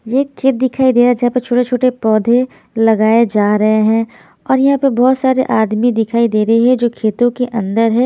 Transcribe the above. ये एक खेत दिखाई दे रहा है जहाँ पर छोटे-छोटे पौधे लगाए जा रहे हैं और यहाँ पर बहुत सारे आदमी दिखाई दे रहे है जो खेतों के अंदर है।